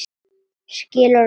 Skilur okkur eftir ein.